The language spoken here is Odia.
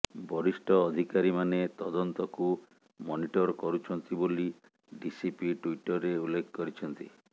ବରିଷ୍ଠ ଅଧିକାରୀମାନେ ତଦନ୍ତକୁ ମନିଟର କରୁଛନ୍ତି ବୋଲି ଡିସିପି ଟ୍ୱିଟରେ ଉଲ୍ଲେଖ କରିଛନ୍ତି